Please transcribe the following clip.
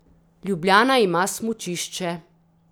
Ljubljana ima smučišče.